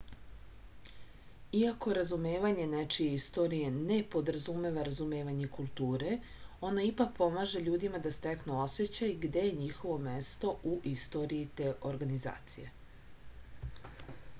iako razumevanje nečije istorije ne podrazumeva razumevanje kulture ono ipak pomaže ljudima da steknu osećaj gde je njihovo mesto u istoriji te organizacije